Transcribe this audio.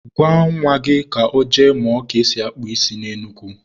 Gwa nwa gị ka ọ jee mụọ ka esi akpụ isi na Enugu.